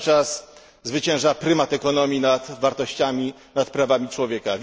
Cały czas zwycięża prymat ekonomii nad wartościami, nad prawami człowieka.